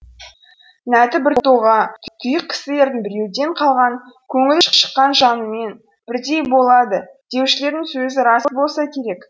нәті біртоға тұйық кісілердің біреуден қалған көңілі шыққан жанымен бірдей болады деушілердің сөзі рас болса керек